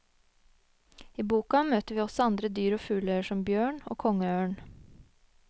I boka møter vi også andre dyr og fugler, som bjørn og kongeørn.